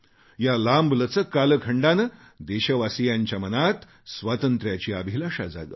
या लांबलचक कालखंडाने देशवासियांच्या मनात स्वातंत्र्याबद्दल उत्कट भावना जागवली